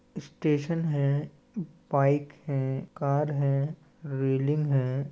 Station है bike है car है रेलिंग हैं।